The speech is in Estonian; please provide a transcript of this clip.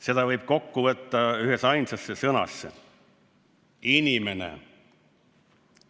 Seda võib kokku võtta ühteainsasse sõnasse – inimene.